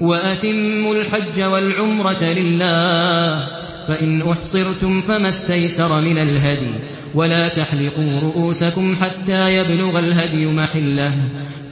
وَأَتِمُّوا الْحَجَّ وَالْعُمْرَةَ لِلَّهِ ۚ فَإِنْ أُحْصِرْتُمْ فَمَا اسْتَيْسَرَ مِنَ الْهَدْيِ ۖ وَلَا تَحْلِقُوا رُءُوسَكُمْ حَتَّىٰ يَبْلُغَ الْهَدْيُ مَحِلَّهُ ۚ